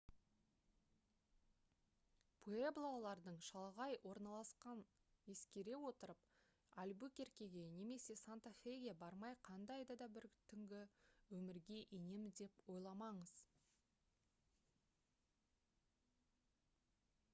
пуэблолардың шалғай орналасқанын ескере отырып альбукеркеге немесе санта феге бармай қандай да бір түнгі өмірге енемін деп ойламаңыз